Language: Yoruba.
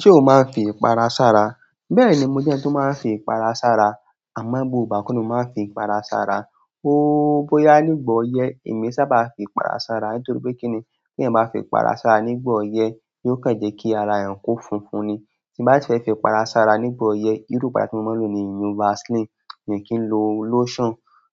Ṣé o máa ń fi ipara sára? Bẹ́ẹ̀ni, mo jẹ́ ẹni tí ó máa ń fi ipara sára. Àmọ́ gbogbo ìgbà ko ni mo máa ń fi ipara sára. Bóyá nígbà ọyẹ́, èmi sábà fi ipara sára. Nítorí pé kí ni? Tí eeyan báa fi ipara sára nígbà ọyẹ́ yóò kàn jẹ́ kí ara eeyan ko funfun ni. Tí n bá si fẹ́ fi ipara sára nígbà ọyẹ́, irú ipara tí mo máa ń lò ni ìyiùn Vaseline, mi ò kí ń lo lotion.